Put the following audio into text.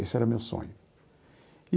Esse era o meu sonho.